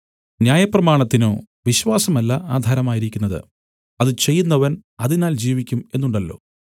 ന്യായപ്രമാണത്തിനോ വിശ്വാസമല്ല ആധാരമായിരിക്കുന്നത് അത് ചെയ്യുന്നവൻ അതിനാൽ ജീവിക്കും എന്നുണ്ടല്ലോ